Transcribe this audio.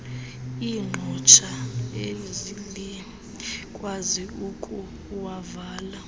iqhosha elikwazi ukuwavala